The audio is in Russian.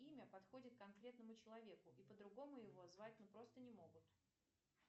имя подходит конкретному человеку и по другому его звать просто не могут